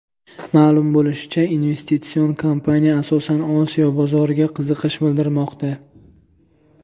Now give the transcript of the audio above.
Ma’lum bo‘lishicha, investitsion kompaniya asosan Osiyo bozoriga qiziqish bildirmoqda.